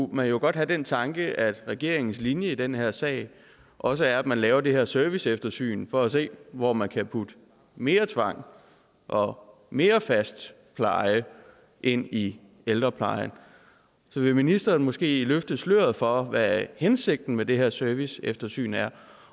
man jo godt få den tanke at regeringens linje i den her sag også er at man laver det her serviceeftersyn for at se hvor man kan putte mere tvang og mere fast pleje ind i ældreplejen så vil ministeren måske løfte sløret for hvad hensigten med det her serviceeftersyn er